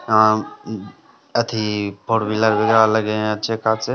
यहाँ अथी four wheeler वगैरा लगे है अच्छे खासे।